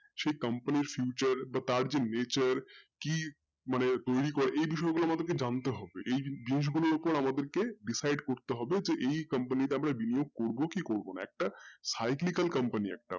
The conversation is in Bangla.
সেই company র future বা তার যে nature মানে কি এই বিষয় গুলো আমাদেরকে জানতে হবে এই জিনিস গুলোর ওপর আমাদেরকে decide করতে হবে যে এই company তে আমরা বিনিযগ করবো কি করবো না একটা side legal company